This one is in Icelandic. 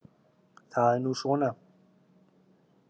Það er nú svona.